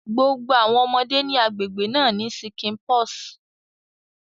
Gbogbo awọn ọmọde ni agbegbe na ní ṣíkìnpọs